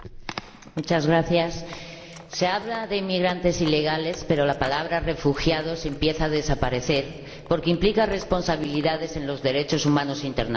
Señor Presidente, se habla de inmigrantes ilegales pero la palabra refugiados empieza a desaparecer, porque implica responsabilidades en los derechos humanos internacionales.